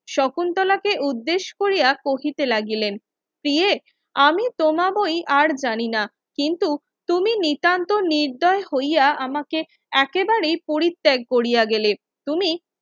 শকুন্তলাকে উদ্দেশ কোরিয়া কহিতে লাগিলেন প্রিয়ে আমি তোমাবোই আর জানিনা কিন্তু তুমি নিতান্ত নির্দয় হইয়া আমাকে একেবারেই পরিত্যাগ কোরিয়া গেলে তুমি